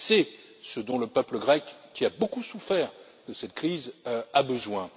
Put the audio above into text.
C'est ce dont le peuple grec, qui a beaucoup souffert de cette crise, a besoin.